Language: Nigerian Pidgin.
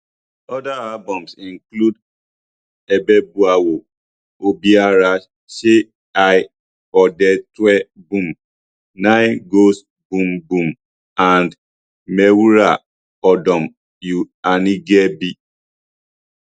oda albums include ebeboawo obiara se eye ode twe boom ny goes boom boom and mewura odom u anigyebi